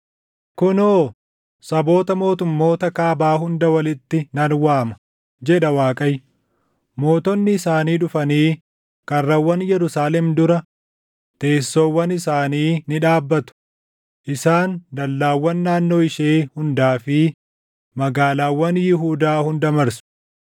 Kunoo saboota mootummoota kaabaa hunda walitti nan waama” jedha Waaqayyo. “Mootonni isaanii dhufanii karrawwan Yerusaalem dura teessoowwan isaanii ni dhaabbatu; isaan dallaawwan naannoo ishee hundaa fi magaalaawwan Yihuudaa hunda marsu.